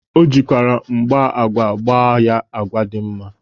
O jikwara mgba agwa gba ya agwa dị mma.